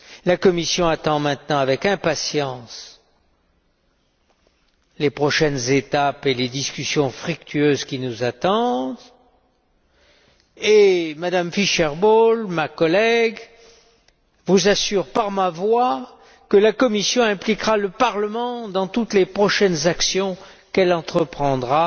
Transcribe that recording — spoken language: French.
La Commission attend maintenant avec impatience les prochaines étapes et les discussions fructueuses qui nous attendent et M me Fischer Boel, ma collègue, vous assure par ma voix que la Commission impliquera le Parlement dans toutes les prochaines actions qu'elle entreprendra